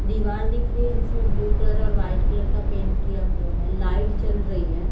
दिवार दिख रही है जिसमें ब्लू कलर और वाइट कलर का पेंट किया हुआ है लाइट जल रही हैं।